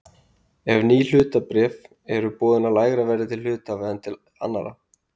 ef ný hlutabréf eru boðin á lægra verði til hluthafa en til annarra.